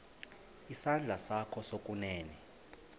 isandla sakho sokunene